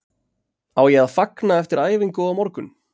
Á ég að fagna eftir æfingu á morgun?